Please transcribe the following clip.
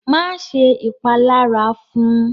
Máṣe ṣẹ́ ìpàlàrá fún!